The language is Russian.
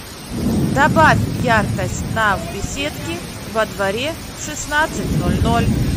добавь яркость на в беседке во дворе в шестнадцать ноль ноль